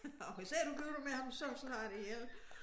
Og hvis ikke du gifter dig med ham så slår jeg dig ihjel